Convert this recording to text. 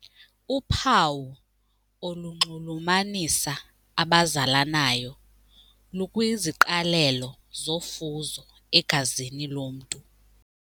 Uphawu olunxulumanisa abazalanayo lukwiziqalelo zofuzo egazini lomntu.